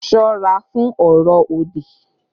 Ṣọ́ra fún ọ̀rọ̀ òdì!